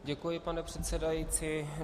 Děkuji, pane předsedající.